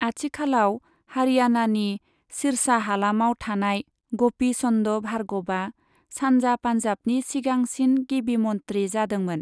आथिखालाव हारियाणानि सिर्सा हालामाव थानाय ग'पी चन्द भार्गवआ सानजा पान्जाबनि सिगांसिन गिबिमन्त्री जादोंमोन।